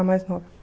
A mais nova.